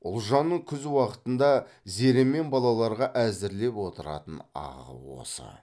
ұлжанның күз уақытында зере мен балаларға әзірлеп отыратын ағы осы